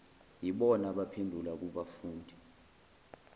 yibona abaphendula kubafundi